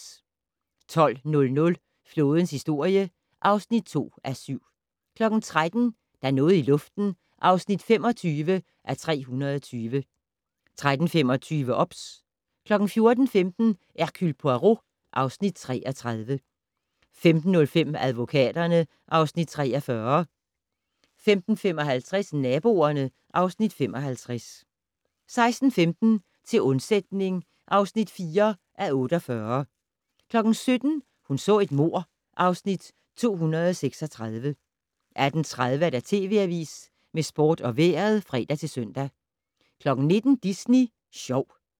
12:00: Flådens historie (2:7) 13:00: Der er noget i luften (25:320) 13:25: OBS 14:15: Hercule Poirot (Afs. 33) 15:05: Advokaterne (Afs. 43) 15:55: Naboerne (Afs. 55) 16:15: Til undsætning (4:48) 17:00: Hun så et mord (Afs. 236) 18:30: TV Avisen med sport og vejret (fre-søn) 19:00: Disney Sjov